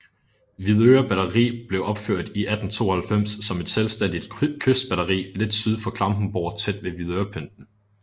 Hvidøre Batteri blev opført i 1892 som et selvstændigt kystbatteri lidt syd for Klampenborg tæt ved Hvidørepynten